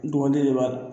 Dɔgɔnɔden de b'a la